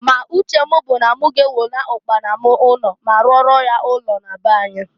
Ma uche m bụ na m ga-ewena ụkpana m ụnọ ma rụọrọ ya ụnọ na be anyi.